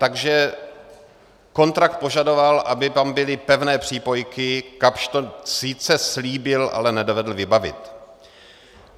Takže kontrakt požadoval, aby tam byly pevné přípojky, Kapsch to sice slíbil, ale nedovedl vybavit.